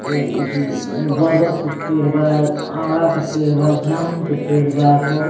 ये एथी बरगद के पेड़ बा आँवला के पेड़ बा जामुन के पेड़ बा बहुत --